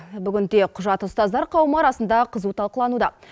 бүгінде құжат ұстаздар қауымы арасында қызу талқылануда